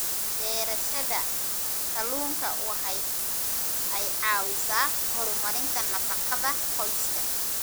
Beerashada kalluunka waxa ay caawisaa horumarinta nafaqada qoyska.